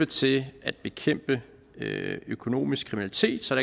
til at bekæmpe økonomisk kriminalitet så